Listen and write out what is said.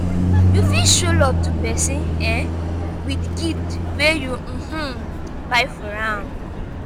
you fit show love to persin um with gift wey you um buy for am